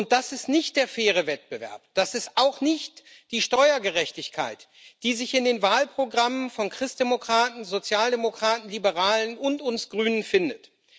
Und das ist nicht der faire Wettbewerb, das ist auch nicht die Steuergerechtigkeit, die sich in den Wahlprogrammen von Christdemokraten, Sozialdemokraten, Liberalen und uns Grünen findet.